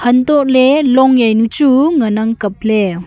antoh ley long jaw nu chu ngan ang kap ley.